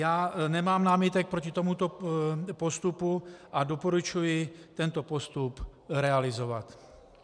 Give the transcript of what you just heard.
Já nemám námitek proti tomuto postupu a doporučuji tento postup realizovat.